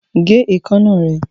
Gé ìkaná rẹ!